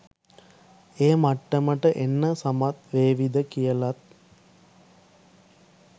ඒ මට්ටමට එන්න සමත් වේවිද කියලත්.